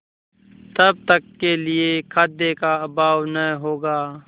तब तक के लिए खाद्य का अभाव न होगा